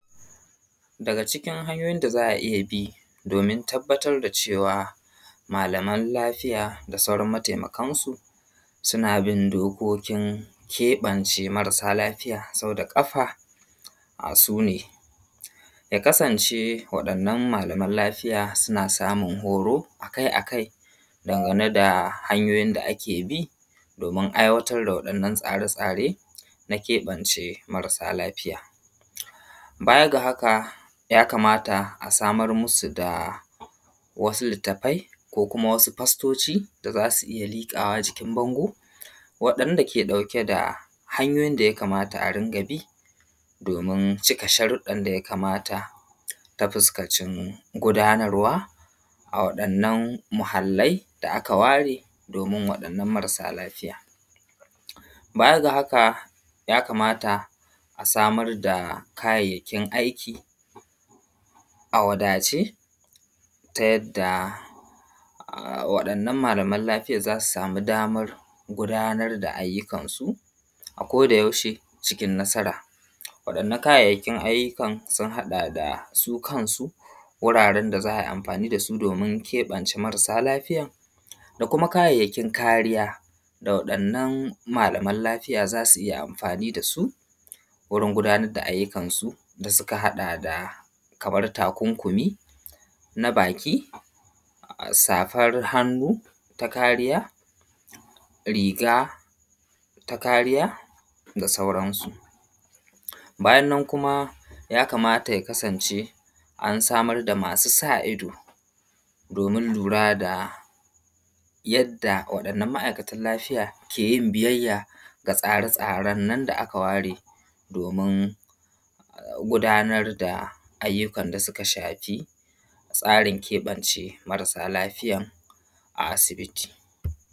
Daga cikin hanyoyin da za’a iyyabi domin tabbatar da cewa malaman lafiya da sauran mataimakansu, suna bin dokokin keɓance marasa lafiya sauda ƙafa sune. Yakasance waɗannan malaman lafiya suna samun horo akai akai dangane da hanyoyi da akebi domin aiwatar da wa ’yan’ nan tsare tsare na keɓance marasa lafiya, bayaga haka ya kamata a samar musu da wasu littafai, ko kuma wasu fastoci da zasu iyya likawa jikin bango waɗan dake ɗauke da hanyoyin da yakama a riƙabi domin cika sharuɗɗan daya kamata ta fuskacin gudanarwa a wa ɗannan muhallia da’aka ware domin waɗannan marasa lafiya. bayada haka yakamata a samar da kayayyakin aiki a wadace tayayyada[um] waɗannan malaman lafiyan zasu samu damar gudanar da ayyukansu a koda yaushe cikin nasara, waɗannan kayayyakin ayyukan sun haɗa da su kansu wuraren da za’ayi amfani dasu domin keɓance marasa lafiyan, da kuma kayayyakin kariya ga waɗannan malaman lafiya zasu iya amfani dasu wurin gudanar da ayyukan su da suka haɗa da, kamar takunkumi na baki, safar hannu ta kariya, riga takariya da sauransu. Bayannan kuma yakamata ya kasance an samar da masu sa’ido domin lurada yadda ma’aikatan lafiya keyin biyayya ga tsare tsaren nan da aka waredom in gudanar da ayyukan da suka shafi tsarin keɓance marasa lafiyan a asubiti.